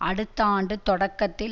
அடுத்த ஆண்டு தொடக்கத்தில்